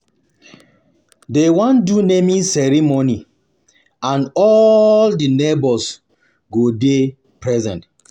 Dey wan do naming ceremony and all di neighbours go dey present.